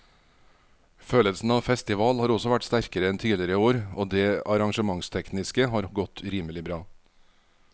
Følelsen av festival har også vært sterkere enn tidligere år og det arrangementstekniske har godt rimelig bra.